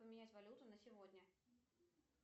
поменять валюту на сегодня